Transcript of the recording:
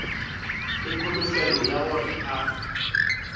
le kholofelo ya gore a